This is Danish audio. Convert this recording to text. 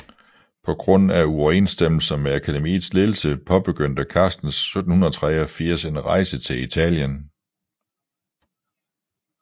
På grund af uoverensstemmelser med akademiets ledelse påbegyndte Carstens 1783 en rejse til Italien